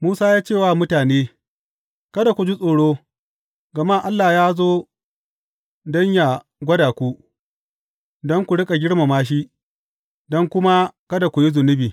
Musa ya ce wa mutane, Kada ku ji tsoro, gama Allah ya zo don yă gwada ku, don ku riƙa girmama shi, don kuma kada ku yi zunubi.